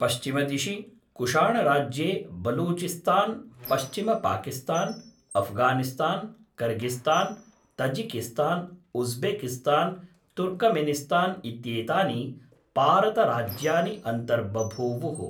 पश्चिमदिशि, कुषाणराज्ये बलूचिस्तान्, पश्चिमपाकिस्तान्, Afghanistan, Kyrgyzstan, Tajikistan, Uzbekistan Turkmenistan इत्येतानि पारतराज्यानि अन्तर्बभूवुः।